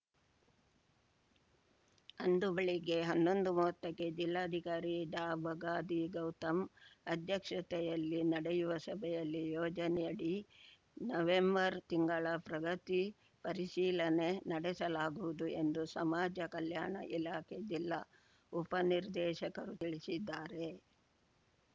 ಅಂದು ಬೆಳಿಗ್ಗೆ ಹನ್ನೊಂದುಮೂವತ್ತಕ್ಕೆ ಜಿಲ್ಲಾಧಿಕಾರಿ ಡಾಬಗಾದಿ ಗೌತಮ್‌ ಅಧ್ಯಕ್ಷತೆಯಲ್ಲಿ ನಡೆಯುವ ಸಭೆಯಲ್ಲಿ ಯೋಜನೆಯಡಿ ನವೆಂಬರ್‌ ತಿಂಗಳ ಪ್ರಗತಿ ಪರಿಶೀಲನೆ ನಡೆಸಲಾಗುವುದು ಎಂದು ಸಮಾಜ ಕಲ್ಯಾಣ ಇಲಾಖೆ ಜಿಲ್ಲಾ ಉಪ ನಿರ್ದೇಶಕರು ತಿಳಿಸಿದ್ದಾರೆ